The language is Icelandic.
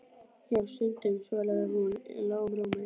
Jú, stundum, svaraði hún í lágum rómi.